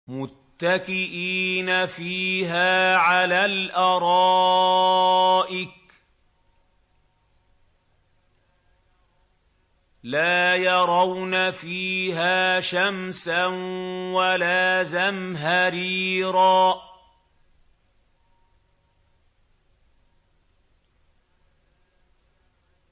مُّتَّكِئِينَ فِيهَا عَلَى الْأَرَائِكِ ۖ لَا يَرَوْنَ فِيهَا شَمْسًا وَلَا زَمْهَرِيرًا